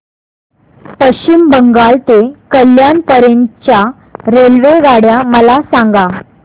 पश्चिम बंगाल ते कल्याण पर्यंत च्या रेल्वेगाड्या मला सांगा